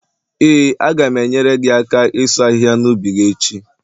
Ee, a ga m enyere gị aka ịsu ahịhịa n' ubi gị echi